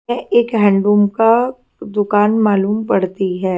एक हैंडलूम का दुकान मालूम पड़ती है।